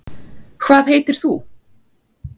hvað heitir þú